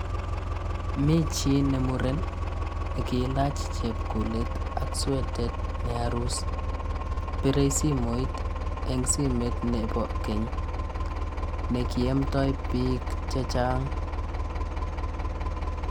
Mi chii ne muren ne kilach chepkulet ak swetet ne arus, birei simoit eng simeet nebo keny, ne kiamdoi biik che chang.